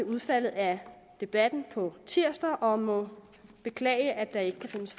udfaldet af debatten på tirsdag og må beklage at der ikke kan findes